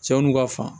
Cɛw n'u ka fa